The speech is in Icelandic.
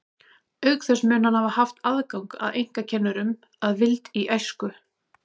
Auk þess mun hann hafa haft aðgang að einkakennurum að vild í æsku.